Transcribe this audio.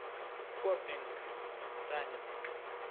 поппинг танец